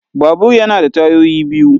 Babur yana da tayoyi biyu.